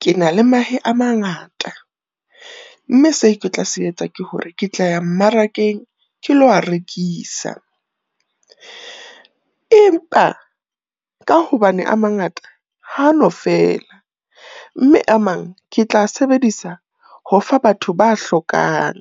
Ke na le mahe a mangata, mme se ke tla se etsa ke hore ke tla ya mmarakeng ke lo a rekisa. Empa ka hobane a mangata ha no fela, mme a mang ke tla sebedisa ho fa batho ba hlokang.